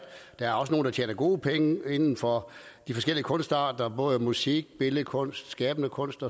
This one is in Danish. der er også nogle der tjener gode penge inden for de forskellige kunstarter både musik billedkunst skabende kunst